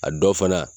A dɔ fana